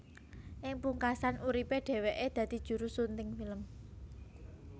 Ing pungkasan uripe dheweke dadi juru sunting film